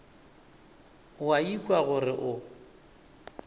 o a ikwa gore o